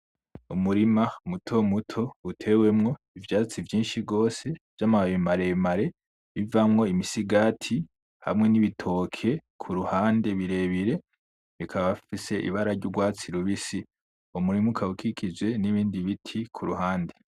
Umurima mutomuto utewemwo ivyatsi vyinshi gose vy'amababi maremare bivamwo imisigati hamwe n'ibitoke kuruhande birebire bikaba bafise ibara ry'urwatsi rubisi, uwo murima ukaba ukikije n'ibindi biti kuruhande.